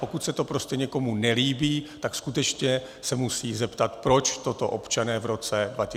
Pokud se to prostě někomu nelíbí, tak skutečně se musí zeptat, proč toto občané v roce 2003 schválili.